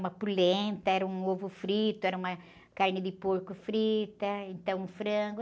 Uma polenta, era um ovo frito, era uma carne de porco frita, ou então um frango.